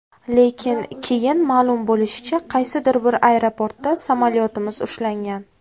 Lekin, keyin ma’lum bo‘lishicha, qaysidir bir aeroportda samolyotimiz ushlangan.